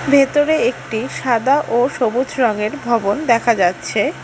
ভেতরে একটি সাদা ও সবুজ রঙের ভবন দেখা যাচ্ছে।